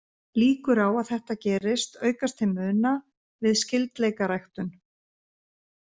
Líkur á að þetta gerist aukast til muna við skyldleikaræktun.